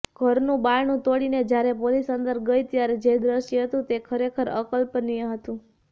ઘરનું બારણુ તોડીને જ્યારે પોલીસ અંદર ગઈ ત્યારે જે દ્રશ્ય હતુ તે ખરેખર અકલ્પનીય હતું